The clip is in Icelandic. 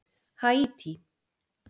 Haítí